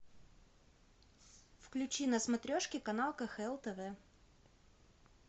включи на смотрешке канал кхл тв